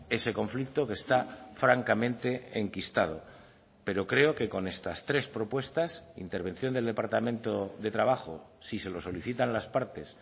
ese conflicto que está francamente enquistado pero creo que con estas tres propuestas intervención del departamento de trabajo si se lo solicitan las partes